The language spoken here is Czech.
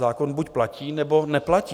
Zákon buď platí, nebo neplatí.